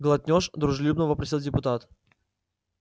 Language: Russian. глотнёшь дружелюбно вопросил депутат